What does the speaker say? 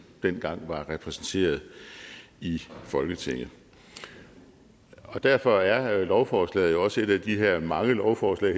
dengang var repræsenteret i folketinget og derfor er lovforslaget også et af de her mange lovforslag